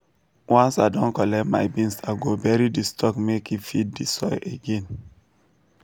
once i don collect my beans i go bury di stalk make e feed the soil again.